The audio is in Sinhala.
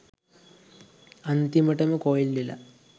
අන්තිමටම කොයිල් වෙලා.